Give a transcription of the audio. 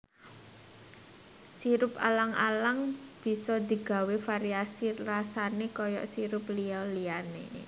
Sirup alang alang bisa digawé variasi rasané kaya sirup liya liyané